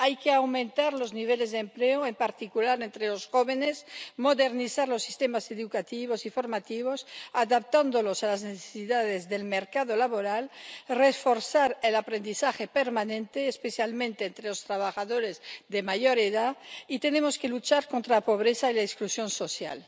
Hay que aumentar los niveles de empleo, en particular entre los jóvenes, modernizar los sistemas educativos y formativos adaptándolos a las necesidades del mercado laboral y reforzar el aprendizaje permanente, especialmente entre los trabajadores de mayor edad, y tenemos que luchar contra la pobreza y la exclusión social.